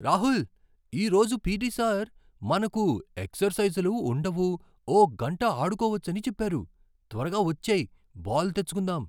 రాహుల్! ఈరోజు PT. Sir మనకు ఎక్సర్సైజులు ఉండవు, ఓ గంట ఆడుకోవచ్చని చెప్పారు! త్వరగా వచ్చేయ్, బాల్ తెచ్చుకుందాం!